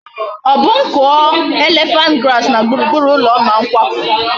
O bu m kuo elephant grass na gburugburu ulo m ma m kwapu?